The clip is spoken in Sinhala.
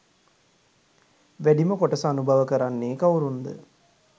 වැඩිම කොටස අනුභව කරන්නේ කවුරුන් ද?